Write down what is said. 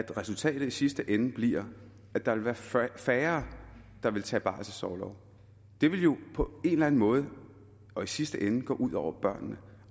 resultatet i sidste ende blive at der vil være færre der vil tage barselsorlov det vil jo på en eller anden måde og i sidste ende gå ud over børnene